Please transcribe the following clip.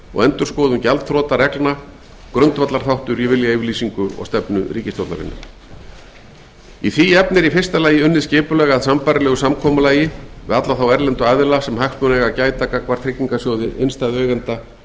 og endurskoðun gjaldþrotareglna grundvallarþáttur í viljayfirlýsingu og stefnu ríkisstjórnarinnar í því efni er í fyrsta lagi unnið skipulega að sambærilegu samkomulagi við alla þá erlendu aðila sem hagsmuna eiga að gæta gagnvart tryggingarsjóði innstæðueigenda og